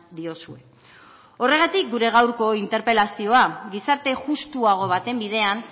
diozue horregatik gure gaurko interpelazioa gizarte justuago baten bidean